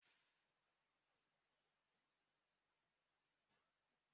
Nkwụ elu ahụ anyị ṅụrụ dị oké ụtọ.